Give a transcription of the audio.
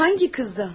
Hansı qızdan?